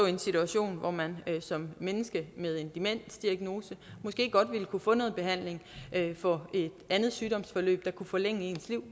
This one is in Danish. i en situation hvor man som menneske med en demensdiagnose måske godt ville kunne få noget behandling for et andet sygdomsforløb der kunne forlænge ens liv